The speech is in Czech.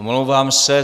Omlouvám se.